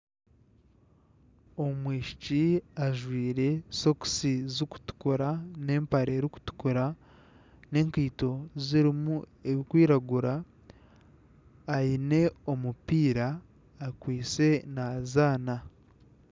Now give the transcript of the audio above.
Omwishiki ajwire sokisi zirikutukura na empare erikutukura na enkaito zirimu ebirikwiragura aine omupiira akwaitse nazaana.